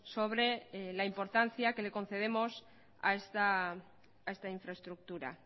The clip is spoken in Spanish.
sobre la importancia que le concedemos a esta infraestructura